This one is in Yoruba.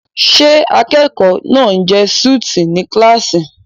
Ṣé akẹ́kọ̀ọ́ náà ń jẹ súùtì ní kíláàsì?